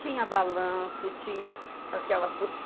Tinha balanço, tinha aquelas